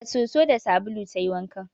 Da soso da sabulu ta yi wankan